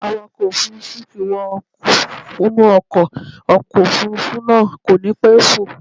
Awakọ̀ ọkọ̀ Òfurufú ti wọ inú ọkọ̀, ọkọ̀ Òfurufú náà kò ní pẹ́ fò.